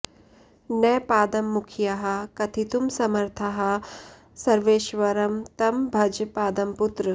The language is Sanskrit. न पाद्ममुख्याः कथितुं समर्थाः सर्वेश्वरं तं भज पाद्मपुत्र